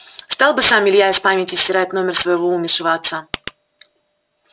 стал бы сам илья из памяти стирать номер своего умершего отца